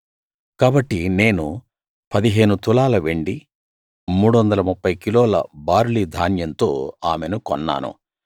కాబట్టి నేను పదిహేను తులాల వెండి 330 కిలోల బార్లీ ధాన్యంతో ఆమెను కొన్నాను